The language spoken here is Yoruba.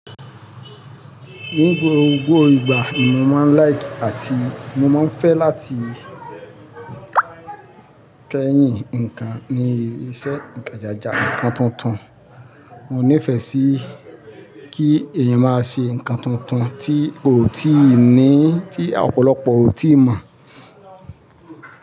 Ní gbogbo ìgbà mo máa ń like àti mo máa ń fẹ́ láti kẹ́yìn ǹkan ní iṣẹ́ ìkẹjàja ǹkan tuntun. Mo nífẹ̀ẹ́ sí kí èyàn máa ṣe ǹkan tuntun tí oo tíì ní, tí ọ̀pọ̀lọpọ̀ ò tíì mọ̀